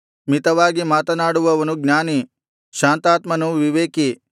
ಮಿತವಾಗಿ ಮಾತನಾಡುವವನು ಜ್ಞಾನಿ ಶಾಂತಾತ್ಮನು ವಿವೇಕಿ